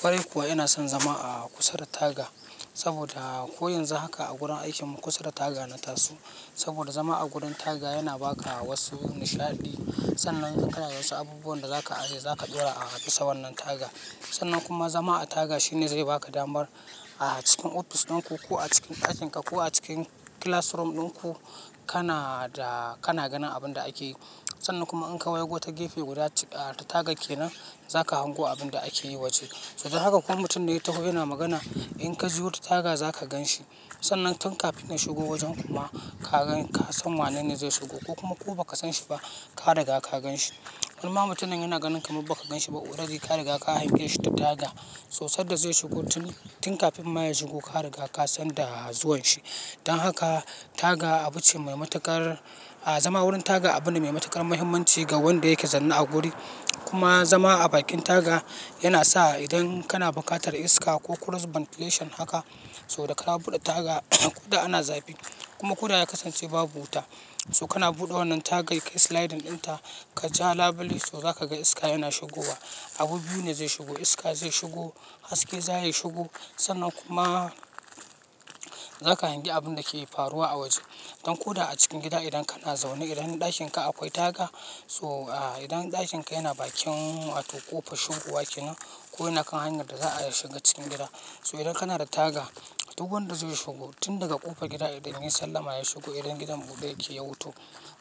Ƙwarai kuwa ina son zama a kusa da taga saboda ko yanzu haka a gurin aikin mu kusa da taga na taso. Saboda zama a gurin taga yana ba ka wasu nishaɗi. Sannan kanada wasu abubuwan da za ka aje za ka ɗaura a bisa wannan taga. Sannan kuma zama a taga shine zai ba ka damar a cikin office ɗin ku ko a cikin ɗakin ka ko a cikin classroom ɗin ku, kana da, kana ganin abin da ake yi. Sannan kuma in ka waigo ta gefe guda ta taga ke nan, za ka hango abin da ake yi waje. So don haka ko mutum da ya taho yana magana in ka juya wata taga za ka gan shi. Sannan tun kafin ya shigo wajen kuma ka gan, ka san wanene zai shigo ko kuma ko ba ka san shi ba, ka riga ka gan shi. In ma mutumin yana ganin kamar ba ka ganshi ba, already ka riga ka hange shi ta taga. So sadda zai shigo tun, tun kafin ma ya shigo ka riga ka san da zuwan shi. Dan haka taga abu ce mai matuƙar, zama wurin taga abune mai matuƙar muhimmanci ga wanda yake zanna a guri. Kuma zama a bakin taga yana sa idan kana buƙatar iska ko cross ventilation haka, so da ka buɗe taga ko da ana zafi kuma ko da ya kasance babu wuta, so kana buɗe wannan tagai sliding ɗin ta kaja labile so za ka ga iska yana shigowa. Abu biyu ne zai shigo iska zai shigo haske za ya shigo. Sannan kuma za ka hangi abin da ke faruwa a waje. Dan ko da a cikin gida idan kana zaune idan ɗakin ka akwai taga so idan ɗakin ka yana bakin wato kofar shigowa ke nan ko yana kan hanyar da za a shiga cikin gida. So idan kana da taga, duk wanda zai shigo tun daga ƙofar gida idan yayi sallama ya shigo idan gidan buɗe yake ya wuto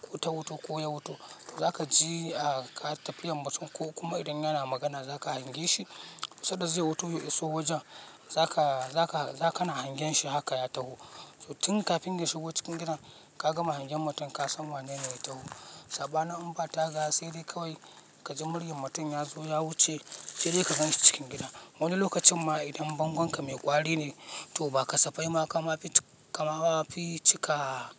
ko ta wuto ko ya wuto, za ka ji ka tafiyar mutum ko kuma idan yana magana za ka hangi shi. Sadda zai wuto ya iso wajen za ka, za ka, za ka na hangen shi haka ya taho. So tun kafin ya shigo cikin gidan ka gama hangen mutum ka san wanene ya taho. Saɓanin in ba taga saidai kawai kaji muryan mutum yazo ya wuce, saidai ka ganshi cikin gida. Wani lokacin ma idan bangonka mai ƙwari, to ba kasafai ma kama fi cika,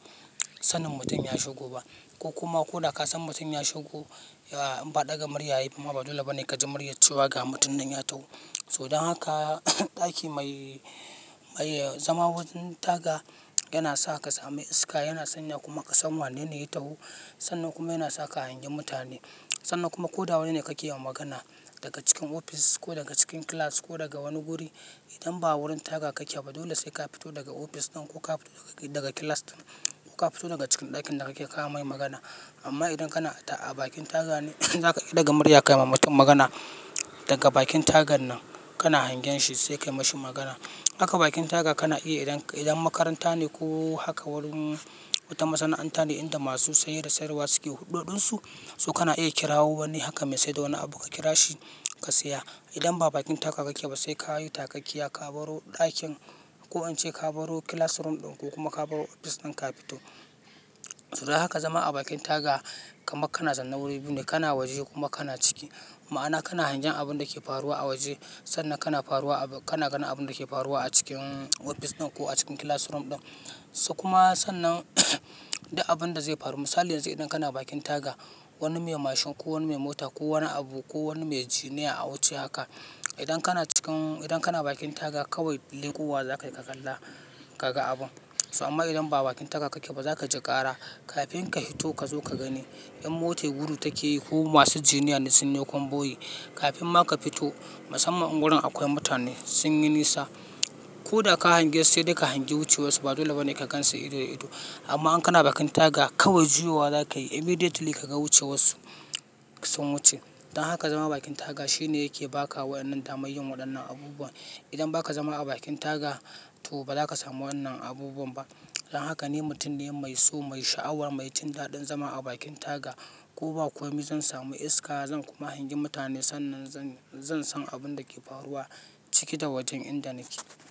sanin mutum ya shigo ba ko kuma ko da ka san mutum ya shigo, ba ɗaga murya ya yi ba, ba dole ba ne ka ji muryar cewa ga mutum nan ya taho. To dan haka, ɗaki mai, zama wurin taga yana sa kasamu iska yana sanya kuma kasan wanene ya taho. Sannan kuma yana sa ka hangi mutane. Sannan kuma koda wani ne kakeyima magana, daga cikin office ko daga cikin class ko daga wani wuri idan ba wurin taga kake ba dole sai ka fito daga office ɗin ko ka fito daga class ɗin ko ka fito daga cikin ɗakin da kake kana mai magana. Amma idan kana a bakin taga ne zaka iya daga murya kayimai magana. Daga bakin tagan nan kana hangen shi sai ka yi ma shi magana. Haka bakin taga kana iya idan, idan makaranta ne ko haka wurin wata masana'anta ne inda masu saye da sayarwa suke huɗoɗin su, so kana iya kirawo wani haka mesaida wani abu ka kira shi ka saya. Idan ba bakin taga kake ba sai ka yi takakkiya ka baro ɗakin ko an ce ka baro classroom ɗin ku kuma ka baro ofis ɗin ka ka fito. So dan haka zama a bakin taga kamar kana zaune wuri biyu ne kana waje kuma kana ciki. Ma'ana kana hangen abun da ke faruwa a waje sannan kana faruwa, kana ganin abun da ke faruwa a cikin office ɗin ko a cikin classroom ɗin. So kuma sannan duk abun da zai faru. Misali yanzu idan kana bakin taga wani me mashin ko wani me mota ko wani abu ko wani me jini ya awuce haka. Idan kana cikin, idan kana bakin taga kawai leƙowa zakayi ka kalla, kaga abun, so amma idan ba bakin taga kake ba zakaji ƙara, kafin kafito kazo kagani. In mota gudu take yi ko masu jini ne sun yi konboyi, kafin ma ka fito musamman in wurin akwai mutane sun yi nisa, ko da ka hangi sai dai ka hangi wuce warsu ba dole ba ne ka gan su ido da ido. Amma in kana bakin taga kawai juyowa za ka yi immediately ka ga wuce warsu sun wuce. Dan haka zama bakin taga shine yake ba ka wa'innan damar yin waɗannan abubuwa. Idan ba ka zama a bakin taga to ba za ka samu wannan abubuwan ba. Dan haka ni mutum ne mai so, mai sha'awa, mai jin daɗin zama a bakin taga. Ko ba komi zan sami iska, zan kuma hangi mutane sannan zan, zan san abun da ke faruwa ciki da wajen inda nake.